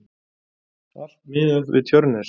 Allt miðað við Tjörnes.